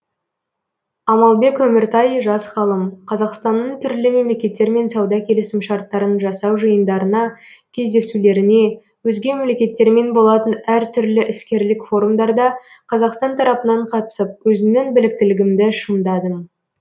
амалбек өміртай жас ғалым қазақстанның түрлі мемлекеттермен сауда келісімшарттарын жасау жиындарына кездесулеріне өзге мемлекеттермен болатын әртүрлі іскерлік форумдарда қазақстан тарапынан қатысып өзімнің біліктілігімді шыңдадым